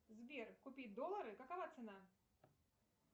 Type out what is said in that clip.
сбер купи доллары какова цена